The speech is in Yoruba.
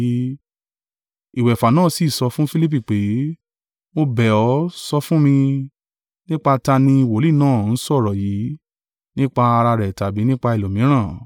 Ìwẹ̀fà náà sì sọ fún Filipi pé, “Mo bẹ̀ ọ́ sọ fún mi, nípa ta ni wòlíì náà ń sọ ọ̀rọ̀ yìí, nípa ara rẹ̀ tàbí nípa ẹlòmíràn?”